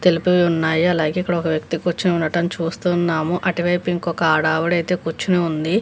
సెల్పులు ఉన్నాయి అలాగే ఇక్కడొక వ్యక్తి కూర్చొని ఉండడం చూస్తున్నాము అటువైపు ఇంకొక అడావిడా అయితే కూర్చొని ఉంది.